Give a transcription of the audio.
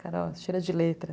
Cara, ó, cheira de letra.